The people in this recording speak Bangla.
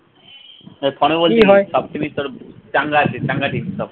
এ পানু বলছি সব team এ তোর চাঙ্গা আছে চাঙ্গা team সব